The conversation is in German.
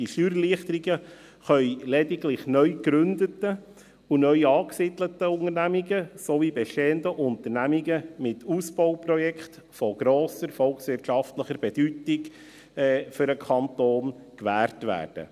Die Steuererleichterungen können lediglich neu gegründeten und neu angesiedelten Unternehmen sowie bestehenden Unternehmen mit Ausbauprojekten von grosser volkswirtschaftlicher Bedeutung für den Kanton gewährt werden.